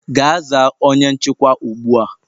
Gaa zaa onye nchịkwa ugbu a!